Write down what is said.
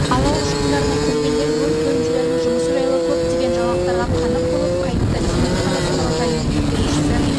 алау ұшқындарына келгендер өрт бөлімшелерінің жұмысы жайлы көптеген жаңалықтарға қанық болып қайтты семей қаласы мұражайының меңгерушісі